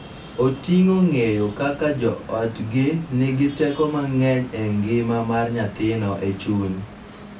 Oting�o ng�eyo kaka jo otgi nigi teko mang�eny e ngima mar nyathino e chuny,